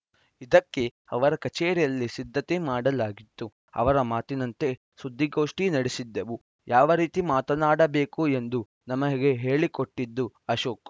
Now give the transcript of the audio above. ಇದಕ್ಕೆ ಅವರ ಕಚೇರಿಯಲ್ಲಿ ಸಿದ್ಧತೆ ಮಾಡಲಾಗಿತ್ತು ಅವರ ಮಾತಿನಂತೆ ಸುದ್ದಿಗೋಷ್ಠಿ ನಡೆಸಿದ್ದೆವು ಯಾವ ರೀತಿ ಮಾತನಾಡಬೇಕು ಎಂದು ನಮಗೆ ಹೇಳಿಕೊಟ್ಟಿದ್ದು ಅಶೋಕ್‌